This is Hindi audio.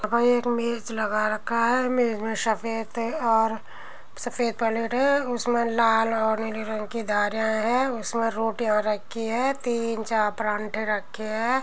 मेज लगा रखा है मेज में सफ़ेद और सफ़ेद पैलेट है। उसमे लाल और नीले रंग की धारें है उसमे रोटियां रखी है तीन चार परांठे रखे हैं।